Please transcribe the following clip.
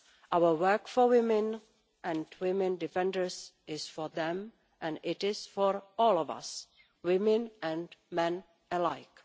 Our work for women and women defenders is for them and it is for all of us, women and men alike.